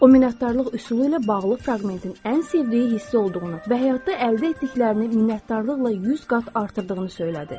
O, minnətdarlıq üsulu ilə bağlı fraqmentin ən sevdiyi hissəsi olduğunu və həyatda əldə etdiklərini minnətdarlıqla 100 qat artırdığını söylədi.